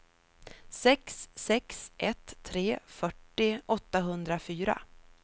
sex sex ett tre fyrtio åttahundrafyra